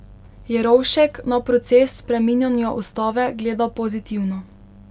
Jerovšek na proces spreminjanja ustave gleda pozitivno.